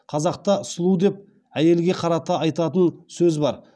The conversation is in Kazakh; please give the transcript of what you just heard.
қазақта сұлу деп әйелге қарата айтатын сөз бар